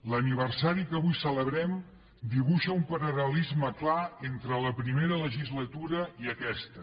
l’aniversari que avui celebrem dibuixa un paral·lelisme clar entre la primera legislatura i aquesta